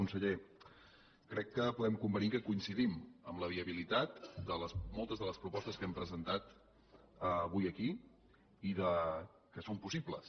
conseller crec que podem convenir que coincidim en la viabilitat de moltes de les propostes que hem presentat avui aquí i que són possibles